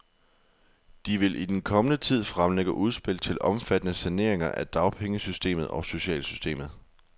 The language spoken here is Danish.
De vil i den kommende tid fremlægge udspil til omfattende saneringer af dagpengesystemet og socialsystemet.